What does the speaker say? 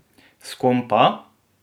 S kom pa?